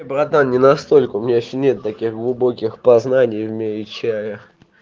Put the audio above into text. братан не настолько у меня ещё нет таких глубоких познаний в мире чая